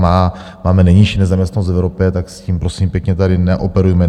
Máme nejnižší nezaměstnanost v Evropě, tak s tím, prosím pěkně, tady neoperujme.